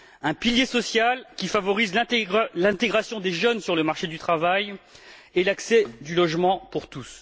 Un pilier social qui favorise l'intégration des jeunes sur le marché du travail et l'accès au logement pour tous.